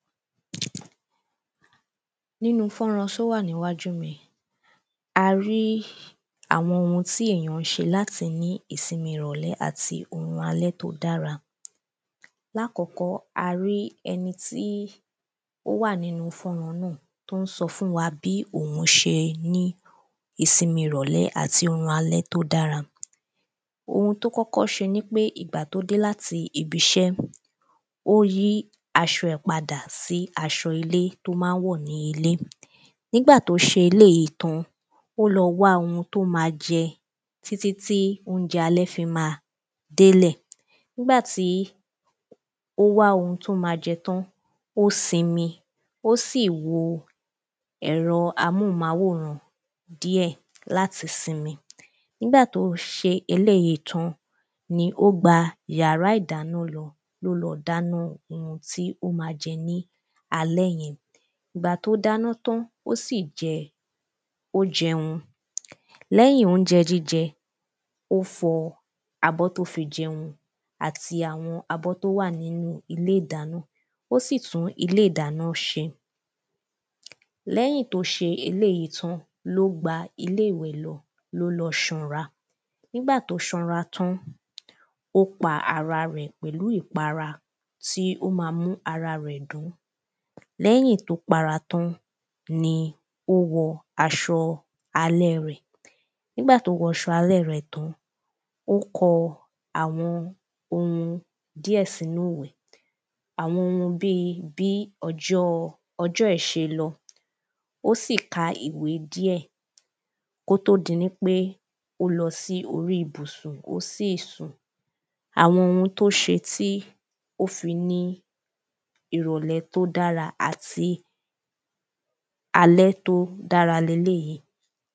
Nínú fọ́nrán só wà nínú wájú mi yìí a rí àwọn ohun tí èyàn ń ṣe láti ní ìsinmi ìrọ̀lẹ́ àti orun alẹ́ tó dára. Lákọ́kọ́ a rí ẹni tí ó wà nínú fọ́nrán náà tó ń sọ fún wa bí òhun ṣe ní ìsinmi ìrọ̀lẹ́ àti orun alẹ́ tó dára. Ohun tó kọ́kọ́ ṣe nipé ìgbà tó dé láti ibiṣẹ́ ó yí asọ ẹ̀ padà sí aṣọ ilé tó má ń wọ̀ ní ilé. Nígbà tó ṣe elêjí tán títí tí óúnjẹ alẹ́ fi má délẹ̀ nígbà tí ó wá ohun tó má jẹ tán ó sinmi ó sì wo ẹ̀rọ amóhùmáwòrán díẹ̀ láti sinmi. Nígbà tó ṣe elêjí tán ni ó gba yàrá ìdáná lọ ló lọ dáná ohun tí ó má jẹ ní alẹ́ yẹn. Ìgbà tó dáná tán ó sì jẹ ó jẹun. Lẹ́yìn óúnjẹ jíjẹ ó fọ abọ́ tó fi jẹun àti àwọn abọ́ tó wà nínú ilé ìdáná ó sì tún ilé ìdáná ṣe. Lẹ́yìn tó ṣe eléèyí tán ló gba ilé ìwẹ̀ lọ ló lọ ṣanra. Nígbà tó ṣanra tán ó pa ara rẹ̀ pẹ̀lú ìpara tí ó má mú ara rẹ̀ dán. Lẹ́yìn tó para tán ni ó wọ aṣọ alé rẹ̀ nígbà tó wọ aṣọ alẹ́ rẹ̀ tán ó kọ àwọn ohun díẹ̀ sínú ìwé àwọn ohun bí bí ọjọ́ ẹ̀ ṣe lọ ó sì ka ìwé díẹ̀ kó tó di nípé ó lọ sí orí ibùsùn ó sì sùn. Àwọn ohun tó ṣe tí ó fi ní ìrọ̀lẹ́ tó dára àti alẹ́ tó dára leléèyí.